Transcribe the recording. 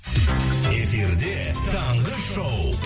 эфирде таңғы шоу